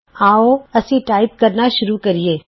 ਆਉ ਅਸੀਂ ਟਾਈਪ ਕਰਨਾ ਸ਼ੁਰੂ ਕਰੀਏ